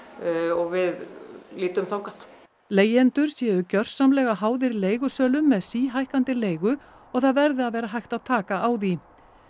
og við lítum þangað leigjendur séu gjörsamlega háðir leigusölum með síhækkandi leigu og það verði að vera hægt að taka á því